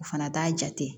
O fana t'a jate